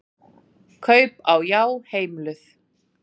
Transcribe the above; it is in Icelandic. Kaup á Já heimiluð